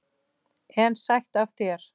En sætt af þér!